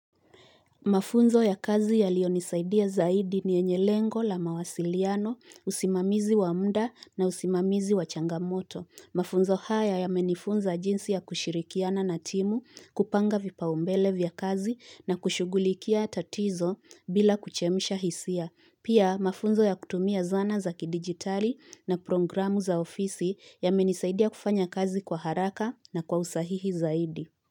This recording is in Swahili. Mafunzo ya kazi yaliyo nisaidia zaidi ni yenye lengo la mawasiliano, usimamizi wa mda na usimamizi wa changamoto. Mafunzo haya yamenifunza jinsi ya kushirikiana na timu, kupanga vipao mbele vya kazi na kushugulikia tatizo bila kuchemsha hisia. Pia mafunzo ya kutumia zana za kidigitali na programu za ofisi yamenisaidia kufanya kazi kwa haraka na kwa usahihi zaidi.